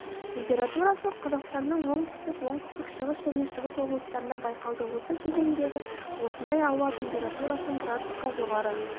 температурасы қазақстанның оңтүстік оңтүстік-шығыс және шығыс облыстарында байқалды осы кезеңдегі осындай ауа температурасының градусқа жоғары